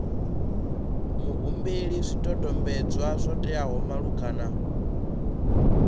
muhumbeli zwidodombedzwa zwo teaho malugana